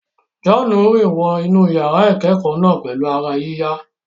John rìn wọ inú yàrá ìkẹ́kọ̀ọ́ náà pẹ̀lú ara yíyá.